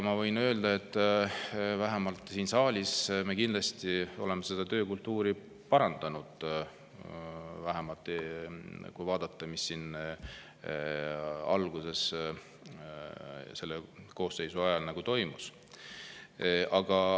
Ma võin öelda, et siin saalis me kindlasti oleme seda töökultuuri parandanud, vähemalt kui, mis siin alguses selle koosseisu ajal toimus.